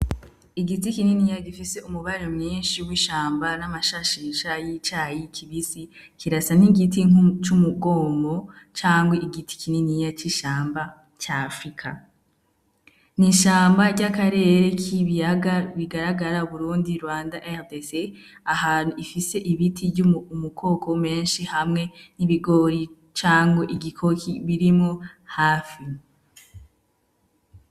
Igiti kininiya gifise umubare mwinshi w'ishamba n'amashashisha y'icayi kibisi, kirasa n'igiti c'umugomwo cangwe igiti kininiya c'ishamba ca afrika, n'ishamba ry'akarere k'ibiyaga bigaragara uburundi, rwanda, rdc ahantu ifise ibiti ry'umukoko menshi hamwe n'ibigori cankwe igikoki birimwo hafi.